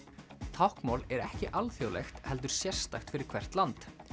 táknmál er ekki alþjóðlegt heldur sérstakt fyrir hvert land